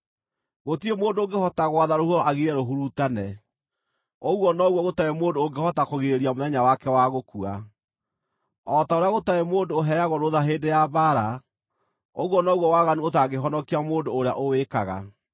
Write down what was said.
Gũtirĩ mũndũ ũngĩhota gwatha rũhuho agirie rũhurutane; ũguo noguo gũtarĩ mũndũ ũngĩhota kũgirĩrĩria mũthenya wake wa gũkua. O ta ũrĩa gũtarĩ mũndũ ũheagwo rũũtha hĩndĩ ya mbaara, ũguo noguo waganu ũtangĩhonokia mũndũ ũrĩa ũwĩkaga.